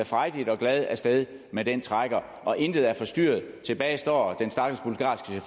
frejdigt og glad af sted med den trækker og intet er forstyrret tilbage står